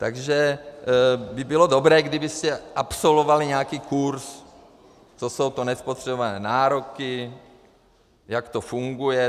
Takže by bylo dobré, kdybyste absolvovali nějaký kurz, co jsou to nespotřebované nároky, jak to funguje.